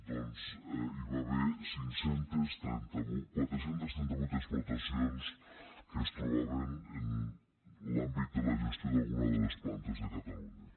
doncs hi va haver quatre cents i trenta vuit explotacions que es trobaven en l’àmbit de la gestió d’alguna de les plantes de catalunya